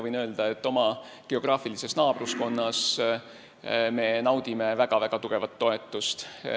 Võin öelda, et me naudime väga-väga tugevat toetust oma geograafilises naabruskonnas.